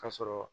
Ka sɔrɔ